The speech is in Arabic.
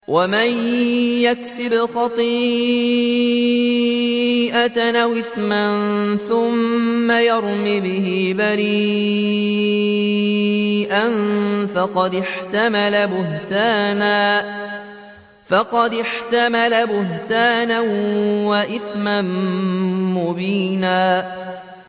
وَمَن يَكْسِبْ خَطِيئَةً أَوْ إِثْمًا ثُمَّ يَرْمِ بِهِ بَرِيئًا فَقَدِ احْتَمَلَ بُهْتَانًا وَإِثْمًا مُّبِينًا